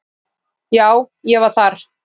Já, ég var þar.